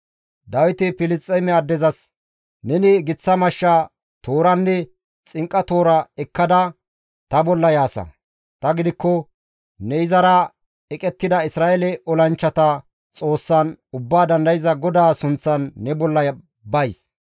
Dawiti Filisxeeme addezas, «Neni giththa mashsha, tooranne xinqa toora ekkada ta bolla yaasa; tani gidikko ne izara eqettida Isra7eele olanchchata Xoossan, Ubbaa Dandayza GODAA sunththan ne bolla bays.